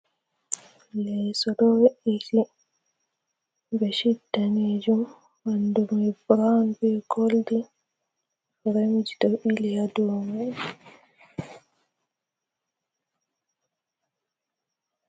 Leso dowe'eti, bechid danejum, bandumai burawun be goldin kalandaji do ɓili ha dou mai.